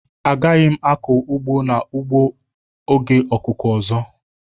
Agaghị m akụ n'ugbo a na oge akuku ọzọ.